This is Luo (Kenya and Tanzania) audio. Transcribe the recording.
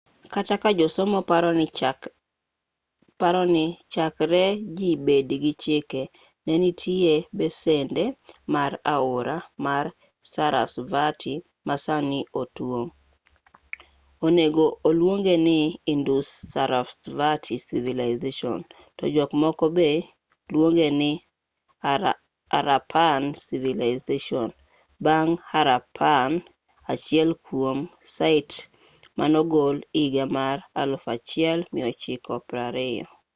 kata ka josomo paroni chakre ji bed gi chike ne nitie besende mar aora mar sarasvati ma sani otuo onego oluongeni indus-sarasvati civilization to jok moko be luongeni harappan civilization bang' harappa achiel kuom sait manogol higa mar 1920